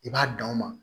I b'a dan o ma